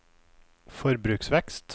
forbruksvekst